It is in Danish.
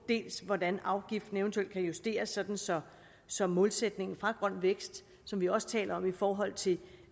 hvordan afgiften eventuelt kan justeres så så målsætningen fra grøn vækst som vi også taler om i forhold til